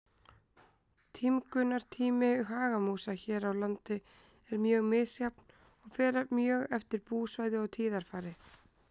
Tímgunartími hagamúsa hér á landi er mjög misjafn og fer mjög eftir búsvæði og tíðarfari.